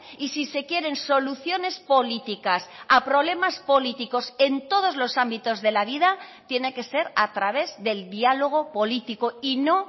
y si se quieren soluciones políticas a problemas políticos en todos los ámbitos de la vida tiene que ser a través del diálogo político y no